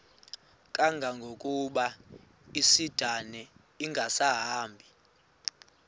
kangangokuba isindane ingasahambi